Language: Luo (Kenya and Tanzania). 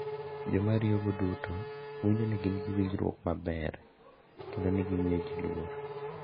Joma ariyogo duto winjo ni gin gi winjruok maber kendo ni gimiyogi luor.